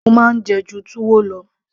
mo máa ń jẹ ẹ́ ju túwó lọ